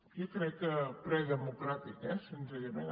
jo crec que predemocràtic senzillament